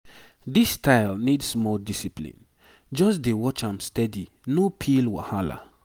this style need small discipline. just dey watch am steady no pill wahala.